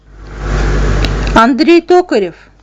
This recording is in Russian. андрей токарев